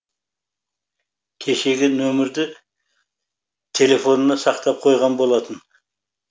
кешегі нөмірді телефонына сақтап қойған болатын